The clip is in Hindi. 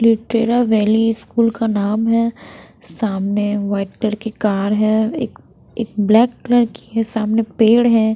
लिटेरा वैली स्कूल का नाम है सामने व्हाइट कलर की कार है एक एक ब्लैक कलर की है सामने पेड़ हैं।